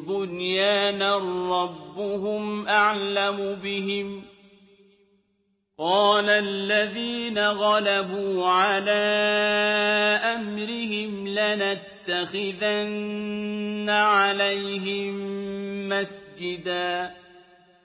بُنْيَانًا ۖ رَّبُّهُمْ أَعْلَمُ بِهِمْ ۚ قَالَ الَّذِينَ غَلَبُوا عَلَىٰ أَمْرِهِمْ لَنَتَّخِذَنَّ عَلَيْهِم مَّسْجِدًا